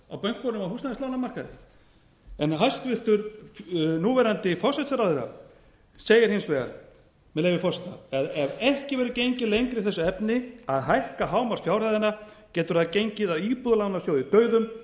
á bönkunum á húsnæðislánamarkaði hæstvirtur núverandi forsætisráðherra segir hins vegar með leyfi forseta ef ekki verður gengið lengra í þessu efni að hækka hámarksfjárhæðina getur það gengið að íbúðalánasjóði dauðum